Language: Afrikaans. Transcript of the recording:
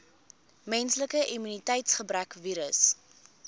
menslike immuniteitsgebrekvirus